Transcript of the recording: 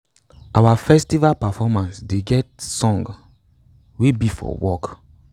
our festival performance dey get songs wey be for work